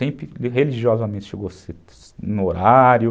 Sempre religiosamente chegou no horário.